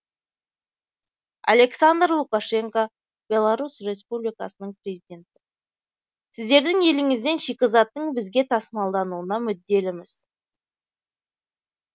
александр лукашенко беларусь республикасының президенті сіздердің еліңізден шикізаттың бізге тасымалдануына мүдделіміз